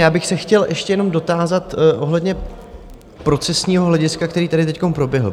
Já bych se chtěl ještě jenom dotázat ohledně procesního hlediska, které tady teď proběhlo.